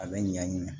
A bɛ ɲan